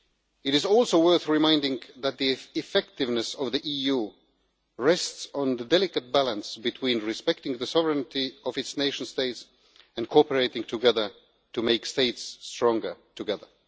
It is also worth remembering that the effectiveness of the EU rests on the delicate balance between respecting the sovereignty of its nation states and cooperating together to make states stronger together.